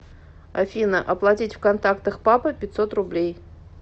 афина оплатить в контактах папа пятьсот рублей